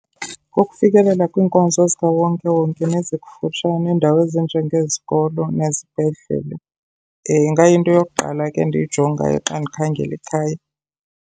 Kukufikelela kwiinkonzo zikawonkewonke nezikufutshane, iindawo ezinjengezikolo nezibhedlele ingayinto yokuqala ke endiyijongayo xa ndikhangela ikhaya.